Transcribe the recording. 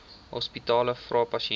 hospitale vra pasiënte